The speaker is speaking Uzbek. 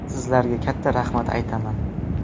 Sizlarga katta rahmat aytaman.